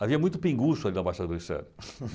Havia muito pinguço ali na Baixada Glicério.